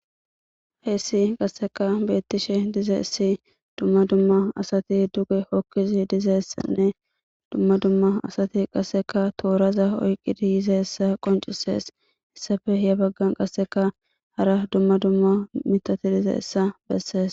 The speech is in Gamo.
Haysa qasekka betishe dizaysa Dumma dumma asati duge hokidi dizaysanne dumma dumma asati qasekka toraza oykidi yizaysa qoncises Hesafe he bagan qasekka hara dumma dumma mitati dicizaysa besese